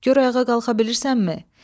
Gör ayağa qalxa bilirsənmi?